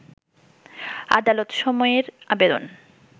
আদালত সময়ের আবেদন